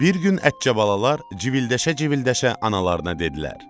Bir gün ətçə balalar civildəşə-civildəşə analarına dedilər: